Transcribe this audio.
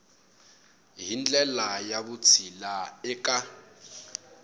hi ndlela ya vutshila eka